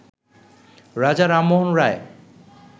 রাজা রামমোহন রায়